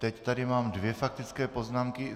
Teď tady mám dvě faktické poznámky.